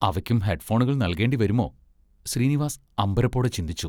അവയ്ക്കും ഹെഡ്‍ഫോണുകൾ നൽകേണ്ടിവരുമോ, ശ്രീനിവാസ് അമ്പരപ്പോടെ ചിന്തിച്ചു.